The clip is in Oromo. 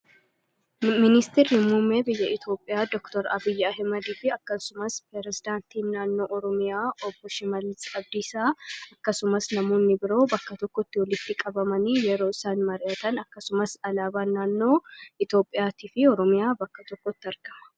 ministi rimmumee biyya itoophiyaa dooktor abiyyaa himadii fi akkasumas perezidaantiin naannoo oromiyaa oboshimalixabdiisaa akkasumas namoonni biroo bakka tokkotti oliitti-qabamanii yeroo isaan mar'atan akkasumas alaabaan naannoo itoophiyaatii fi oromiyaa bakka tokkotti argama